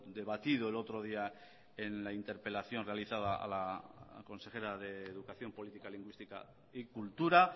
debatido el otro día en la interpelación realizada a la consejera de educación política lingüística y cultura